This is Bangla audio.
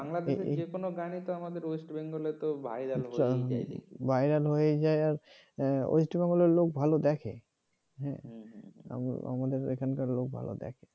বাংলাদেশের যে কোন গানই তো আমাদের west bengal তো viral viral হয়েই যায় দেখি viral হয়েই যায় আর ওয়েস্ট বেঙ্গলের লোক ভালো দেখে হ্যাঁ হ্যাঁ আমাদের এখানকার লোক ভালো দেখে